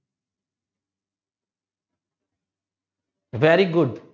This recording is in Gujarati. very good